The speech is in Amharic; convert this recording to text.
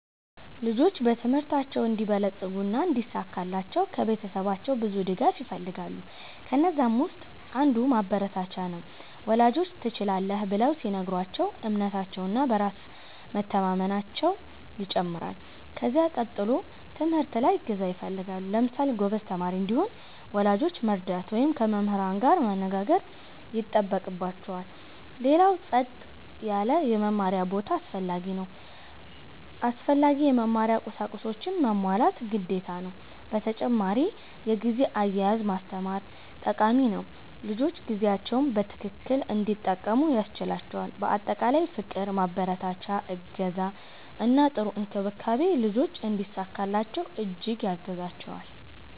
ልጆች በትምህርታቸው እንዲበለጽጉ እና እንዲሳካላቸው ከቤተሰባቸው ብዙ ድጋፍ ይፈልጋሉ። ከነዛም ውስጥ አንዱ ማበረታቻ ነው፤ ወላጆች “ትችላለህ” ብለው ሲነግሯቸው እምነታቸው እና በራስ መቸማመናየው ይጨምራል። ከዚያ ቀጥሎ ትምህርት ላይ እገዛ ይፈልጋሉ። ለምሳሌ ጎበዝ ተማሪ እንዲሆን ወላጆች መርዳት ወይም ከመምህር ጋር መነጋገር ይጠበቅባቸዋል። ሌላው ጸጥ ያለ የመማሪያ ቦታ አስፈላጊ ነው። አስፈላጊ የመማሪያ ቁሳቁሶችንም ማሟላት ግዴታ ነው። በተጨማሪ የጊዜ አያያዝ ማስተማር ጠቃሚ ነው፤ ልጆች ጊዜያቸውን በትክክል እንዲጠቀሙ ያስችላቸዋል። በአጠቃላይ ፍቅር፣ ማበረታቻ፣ እገዛ እና ጥሩ እንክብካቤ ልጆች እንዲሳካላቸው እጅግ ያግዛቸዋል።